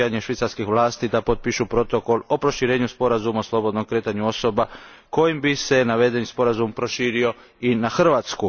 odbijanje švicarskih vlasti da potpišu protokol o proširenju sporazuma o slobodnom kretanju osoba kojim bi se navedeni sporazum proširio i na Hrvatsku.